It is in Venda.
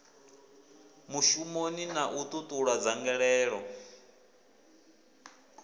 mishumoni na u ṱuṱula dzangalelo